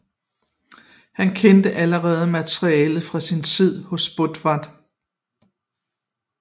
Han kendte allerede materialet fra sin tid hos Botved